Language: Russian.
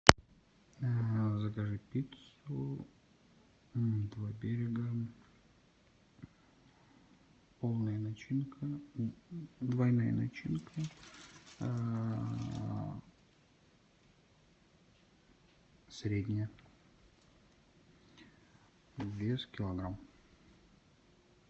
закажи пиццу два берега полная начинка двойная начинка средняя вес килограмм